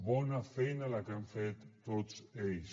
bona feina la que han fet tots ells